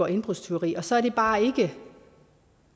indbrudstyveri og så er det bare ikke